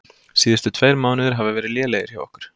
Síðustu tveir mánuðir hafa verið lélegir hjá okkur.